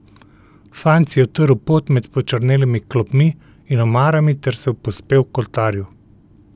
Fant si je utrl pot med počrnelimi klopmi in omarami ter se povzpel k oltarju.